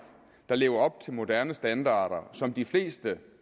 der lever op til moderne standarder som de fleste